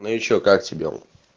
ну ещё как сидел